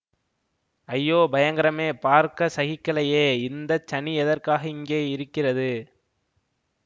ஐயோ பயங்கரமே பார்க்க சகிக்கலையே இந்த சனி எதற்காக இங்கே இருக்கிறது